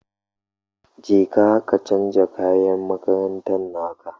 Jeka ka canja kayan makarantan naka